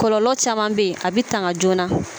Kɔlɔlɔ caman bɛ yen a bɛ tanga joona